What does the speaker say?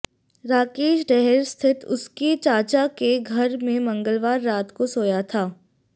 राकेश डैहर स्थित उसके चाचा के घर में मंगलवार रात को सोया था